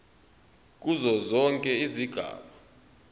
kuzo zonke izigaba